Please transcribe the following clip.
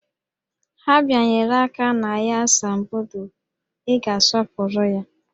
Ha bịanyere aka na ya asambodo, Ị ga-asọpụrụ ya!